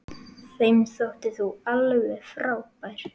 Þeim þótti þú alveg frábær.